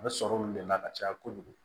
A bɛ sɔrɔ olu de la ka caya kojugu